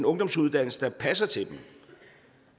ungdomsuddannelse der passer til dem